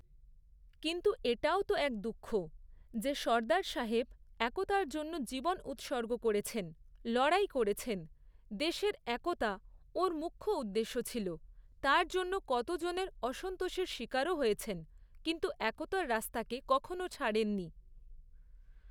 কিন্তু এটাও তো এক দুঃখ, যে সর্দার সাহেব একতার জন্য জীবন উৎসর্গ করেছেন, লড়াই করেছেন, দেশের একতা ওঁর মুখ্য উদ্দেশ্য ছিল, তার জন্য কতজনের অসন্তোষের শিকারও হয়েছেন, কিন্তু একতার রাস্তাকে কখনও ছাড়েন নি।